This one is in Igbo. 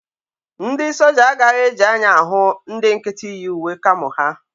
Ndị soja agaghị eji anya ahụ ndị nkịtị yi uwe kamo ha